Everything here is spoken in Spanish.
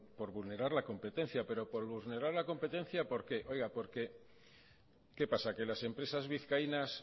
por vulnerar la competencia pero por vulnerar la competencia por qué oiga porque qué pasa que las empresas vizcaínas